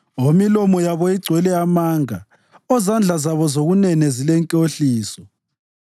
omilomo yabo igcwele amanga, ozandla zabo zokunene zilenkohliso.